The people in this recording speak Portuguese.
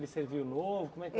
Ele serviu novo, como é que